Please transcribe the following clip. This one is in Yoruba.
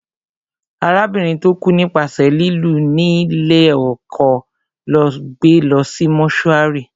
Arábìnrin tó kú nípasẹ̀ lílù ní lé ọkọ lọ́ gbé lọ sí mọ́túárì